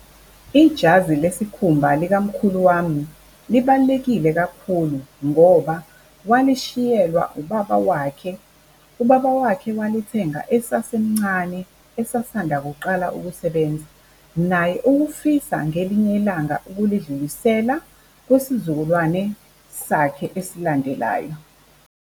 Ijazi lesikhumba likamkhulu wami libalulekile kakhulu ngoba walishiyelwa ubaba wakhe. Ubaba wakhe walithenga esasemncane, esasanda kuqala ukusebenza. Naye ukufisa ngelinye ilanga ukulidlulisela kwisizukulwane sakhe esilandelayo.